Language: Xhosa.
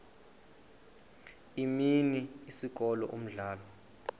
imini isikolo umdlalo